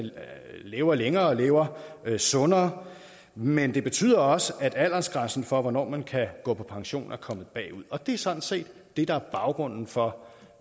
lever længere og lever sundere men det betyder også at aldersgrænsen for hvornår man kan på pension at kommet bagud og det er sådan set det der er baggrunden for